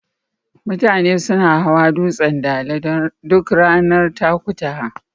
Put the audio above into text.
Mutane suna hawa dutsen Dala duk ranar Takutaha.